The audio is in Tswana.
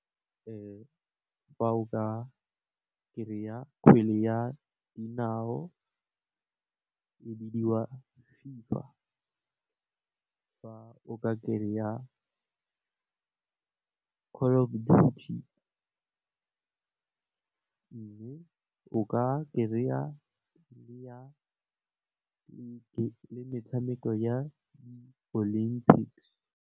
Fa o ka kry-a kgwele ya dinao e bidiwa FIFA, fa o ka kry-a mme, o ka kry-a le metshameko ya Olympics.